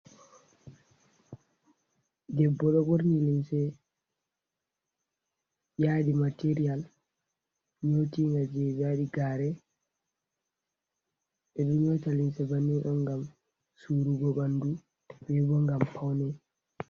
Debbo ɗo ɓorni limse yadi material nyootinga je ɓe waɗi gare. Ɓeɗo nyoota limse banin on ngam surugo ɓandu bebo ngam paune.